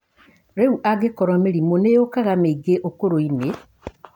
Rĩu angĩkorwo mĩrimũ nĩ yũkaga mĩingĩ ũkũrũ-inĩ